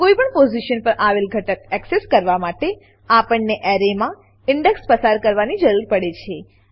કોઈપણ પોઝીશન પર આવેલ ઘટક એક્સેસ કરવા માટે આપણને એરેમાં ઇન્ડેક્સ ઇન્ડેક્સ પસાર કરવાની જરૂર પડે છે